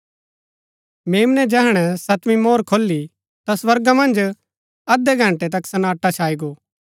मेम्नै जैहणै सतवीं मोहर खोली ता स्वर्गा मन्ज अध्धै घंटै तक सन्नाटा छाई गो